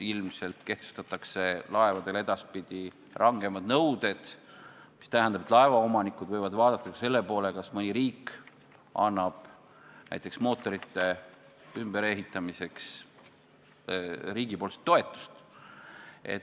Ilmselt kehtestatakse edaspidi laevadele rangemad nõuded, mis tähendab, et laevaomanikud võivad vaadata ka seda, kas mõni riik annab näiteks mootorite ümberehitamiseks toetust.